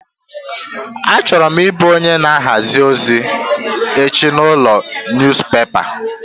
Achọrọ m ị bụ onye na ahazi ozi echi n'ụlọ niyuzupepa.